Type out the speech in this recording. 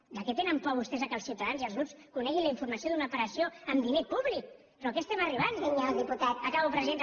de què tenen por vostès que els ciutadans i els grups coneguin la informació d’una operació amb diner públic però a què estem arribant acabo presidenta